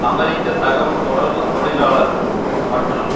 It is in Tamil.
அமெரிக்க தகவல் தொடர்பு தொழிளாலர்கள் மற்றும்